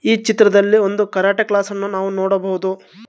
ಈ ಚಿತ್ರದಲ್ಲಿ ಒಂದು ಕರಾಟೆ ಕ್ಲಾಸ್ ಅನ್ನು ನಾವು ನೋಡಬಹುದು.